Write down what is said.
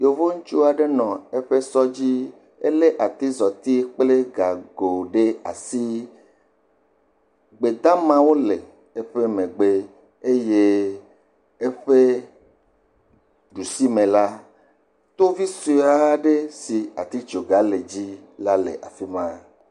Yevo ŋutsu aɖe nɔ anyi ɖe eƒe sɔ dzi. Elé atizɔti kple gago ɖe asi. Gbedamawo le eƒe megbe. Eye eƒe ɖusimela, tovi sue aɖe si atitsogã le edzi la le afi ma